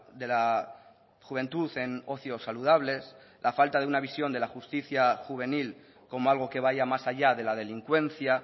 de la juventud en ocios saludables la falta de una visión de la justicia juvenil como algo que vaya más allá de la delincuencia